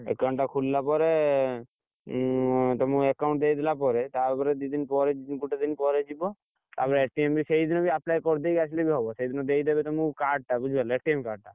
Account ଟା ଖୁଲିଲା ପରେ, ତମକୁ account ଦେଇଦେଲା ପରେ ତାପରେ ଦିଦିନ ପରେ ଗୋଟେ ଦିନ ପରେ ଯିବ, ତାପରେ ଟା apply କରିଦେଇ ଆସିଲେ ବି ହବ ସେଇଦିନ ଦେଇଦେବେ ତମକୁ card ଟା ବୁଝିପାରିଲ card ଟା,